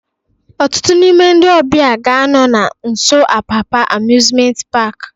Ọtụtụ n'ime ndị ọbịa ga-anọ na nso Apapa Amusement Park